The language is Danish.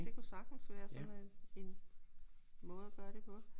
Det kunne sagtens være sådan en en måde at gøre det på